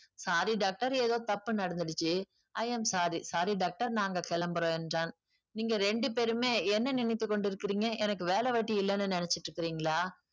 sorry doctor ஏதோ தப்பு நடந்திடுச்சு i am sorry sorry doctor நாங்க கிளம்புறோம் என்றான் நீங்க ரெண்டு பேருமே என்ன நினைத்துக் கொண்டு இருக்கிறீங்க எனக்கு வேல வெட்டி இல்லைன்னு நினைச்சுட்டு இருக்கீங்களா